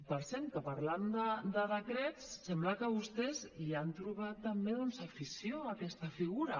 per cert que parlant de decrets sembla que vostès hi han trobat també doncs afició a aquesta figura